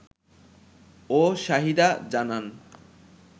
ও শাহিদা জানান